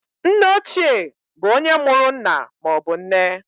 Nneochie bụ onye mụrụ nna maọbụ nne.